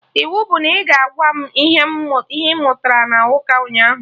Iwu bụ na ị ga-agwa m ihe ị mụtara na ụka ụnyaahụ!